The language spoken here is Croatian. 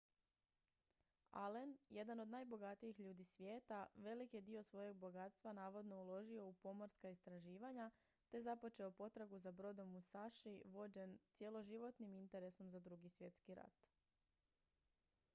allen jedan od najbogatijih ljudi svijeta velik je dio svojeg bogatstva navodno uložio u pomorska istraživanja te započeo potragu za brodom musashi vođen cjeloživotnim interesom za drugi svjetski rat